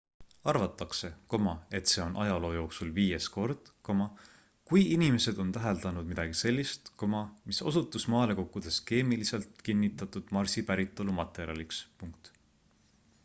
arvatakse et see on ajaloo jooksul viies kord kui inimesed on täheldanud midagi sellist mis osutus maale kukkudes keemiliselt kinnitatud marsi päritolu materjaliks